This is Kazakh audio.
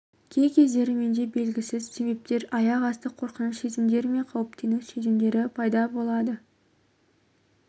кей кездері менде белгісіз себептермен аяқ-асты қорқыныш сезімдері мен қауіптену сезімдері пайда болады